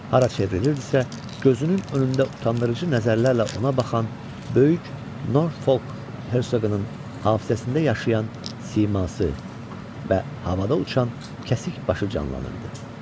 Hara çevrilirdisə, gözünün önündə utandırıcı nəzərlərlə ona baxan böyük Norfolk Hersoqunun hafizəsində yaşayan siması və havada uçan kəsik başı canlanırdı.